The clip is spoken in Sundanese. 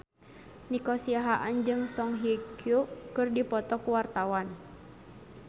Nico Siahaan jeung Song Hye Kyo keur dipoto ku wartawan